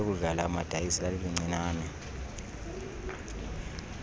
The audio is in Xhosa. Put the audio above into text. lokudlala amadayisi lalilincinane